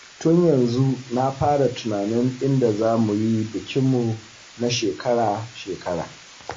Tun yanzu na fara tunanin inda za mu yi bikinmu na shekara-shekara